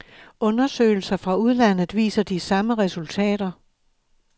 Undersøgelser fra udlandet viser de samme resultater.